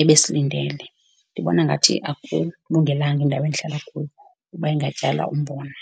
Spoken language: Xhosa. ebesilindele. Ndibona ngathi akulungelanga indawo endihlala kuyo uba ingatyala umbona.